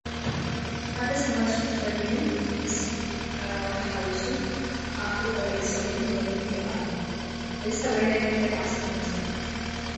ሓደ ሰብኣይ ሱፍ ተኸዲ ምስ ካራባታ ሓዊሱ ኣፉ ዓቢሱ ስቕ ኢሉ ንቕድሚት ይሪኢ ኣሎ፡፡ እዚ ሰብኣይ ናይ ምንታይ በዓል ስልጣን ይመስለኩም?